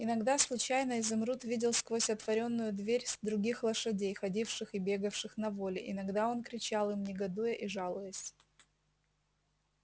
иногда случайно изумруд видел сквозь отворенную дверь других лошадей ходивших и бегавших на воле иногда он кричал им негодуя и жалуясь